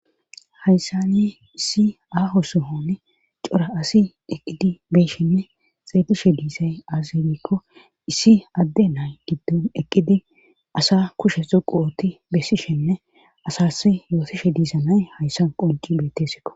Hayssa ni issi aaho suhoni cora asi eqqidi beeshinne xeelishe diisay azibikko issi adde nay giddon eqqidi asa kushe xuquwooti bessishenne asas yootishe diisanay hayssa qonci bettesiko.